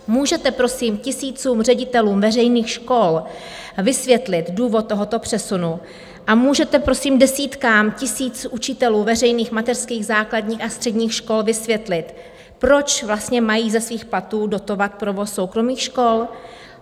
Můžete prosím tisícům ředitelů veřejných škol vysvětlit důvod tohoto přesunu a můžete prosím desítkám tisíc učitelů veřejných mateřských, základních a středních škol vysvětlit, proč vlastně mají ze svých platů dotovat provoz soukromých škol?